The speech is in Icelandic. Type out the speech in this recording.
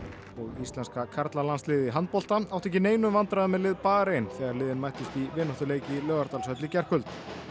og íslenska karlalandsliðið í handbolta átti ekki í neinum vandræðum með lið Barein þegar liðin mættust í vináttuleik í Laugardalshöll í gærkvöld